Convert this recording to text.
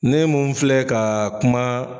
Ne mun filɛ ka kuma